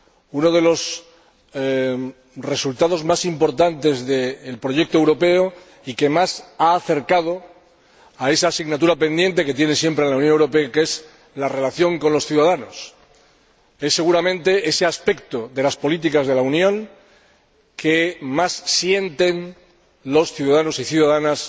uno de los resultados más importantes del proyecto europeo y que más se ha acercado a esa asignatura pendiente que tiene siempre la Unión Europea, que es la relación con los ciudadanos. Es seguramente ese aspecto de las políticas de la Unión el que más sienten los ciudadanos y las ciudadanas